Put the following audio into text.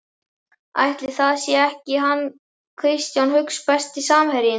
Ætli það sé ekki hann Kristján Hauks Besti samherjinn?